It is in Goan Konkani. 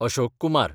अशोक कुमार